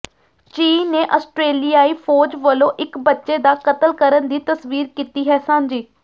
ਚੀਨ ਨੇ ਆਸਟ੍ਰੇਲਿਆਈ ਫ਼ੌਜ ਵਲੋਂ ਇਕ ਬੱਚੇ ਦਾ ਕਤਲ ਕਰਨ ਦੀ ਤਸਵੀਰ ਕੀਤੀ ਹੈ ਸਾਂਝੀ